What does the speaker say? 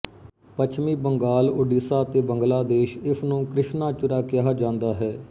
ਪੱਛਮੀ ਬੰਗਾਲ ਓਡੀਸ਼ਾ ਅਤੇ ਬੰਗਲਾਦੇਸ਼ ਇਸਨੂੰ ਕ੍ਰਿਸ਼ਨਾਚੁਰਾ ਕਿਹਾ ਜਾਂਦਾ ਹੈ